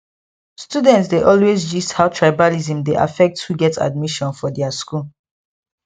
students dey always gist how tribalism dey affect who get admission for their school